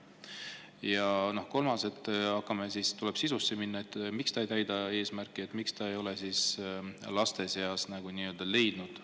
Tuleb sellesse, miks ta ei täida oma eesmärki, miks ta ei ole laste seas kohta leidnud.